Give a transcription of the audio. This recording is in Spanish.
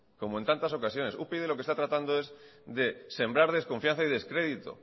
como en tantas ocasiones upyd lo que está tratando es de sembrar desconfianza y descrédito